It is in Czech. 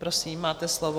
Prosím, máte slovo.